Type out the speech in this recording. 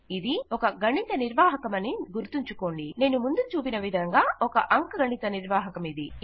ఇది ఒక గణిత నిర్వాహకమని గుర్తుంచుకోండి నేను ముందు చూపిన విధంగా ఒక అంకగణిత నిర్వాహకమిది